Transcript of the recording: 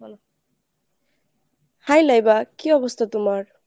বল। hi Laiba কী অবস্থা তোমার?